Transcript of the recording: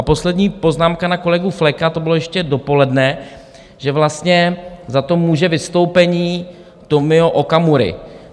A poslední poznámka na kolegu Fleka, to bylo ještě dopoledne, že vlastně za to může vystoupení Tomia Okamury.